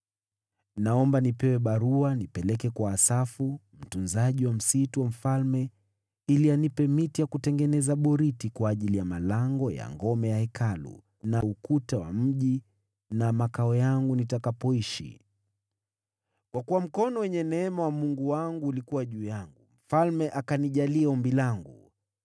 Naomba nipewe barua nipeleke kwa Asafu, mtunzaji wa msitu wa mfalme, ili anipe miti ya kutengeneza boriti kwa ajili ya malango ya ngome ya Hekalu, na ukuta wa mji, na makao yangu nitakapoishi.” Kwa kuwa mkono wenye neema wa Mungu wangu ulikuwa juu yangu, mfalme akanijalia ombi langu.